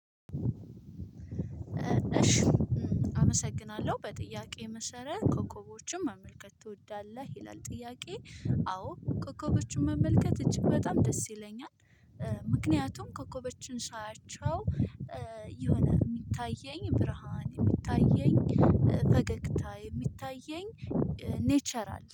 እሺ አመሰግናለሁ በጥያቄ መሰረት ኮከቦችን መመልከት ትወዳለህ ይላል ጥያቄ? አዎ ኮከቦችን መመልከት እጅግ በጣም ደስ ይለኛል። ምክንያቱም ኮከቦችን ሳያቸው የሆነ የሚታየኝ ብርሃን የሚታየኝ ፈገግታ የሚታየኝ ኔቸራል